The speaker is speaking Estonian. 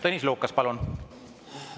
Tõnis Lukas, palun!